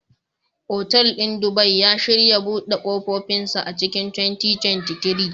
Otal ɗin Dubai, ya shirya buɗe ƙofofinsa a cikin 2023.